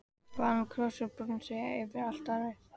Vann hún kross úr bronsi yfir altarið.